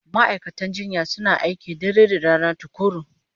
Ma'aikatan jinya suna aiki dare da rana tukuru